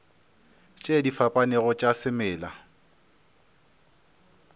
tše di fapanego tša semela